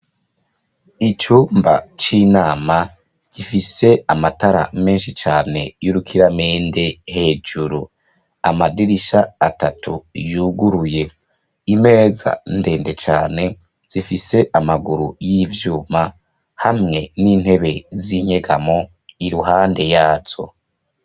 Icumba c’inama gifise amatara menshi cane yurukiramende hejuru , amadirisha atatu yuguruye, imeza ndende cane zifise amaguru yivyuma hamwe nintebe zinyegamo iruhande yazo.